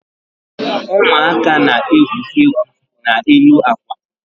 Ụmụaka na-egwu egwu n'elu akwa.